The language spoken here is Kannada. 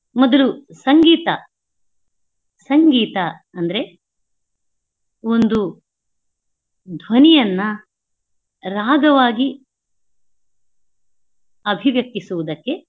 ಮೊದ್ಲು ಸಂಗೀತ. ಸಂಗೀತ ಅಂದ್ರೆ ಒಂದು ಧ್ವನಿಯನ್ನಾ ರಾಗವಾಗಿ ಅಭಿವ್ಯಕ್ತಿಸುವುದಕ್ಕೇ.